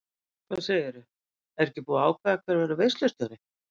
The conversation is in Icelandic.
Hvað segirðu, er ekki búið að ákveða hver verður veislustjóri.